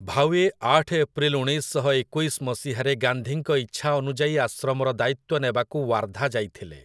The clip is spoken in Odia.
ଭାୱେ ଆଠ ଏପ୍ରିଲ ଉଣେଇଶ ଶହ ଏକୋଇଶ ମସିହାରେ ଗାନ୍ଧୀଙ୍କ ଇଚ୍ଛା ଅନୁଯାୟୀ ଆଶ୍ରମର ଦାୟିତ୍ୱ ନେବାକୁ ୱାର୍ଧା ଯାଇଥିଲେ ।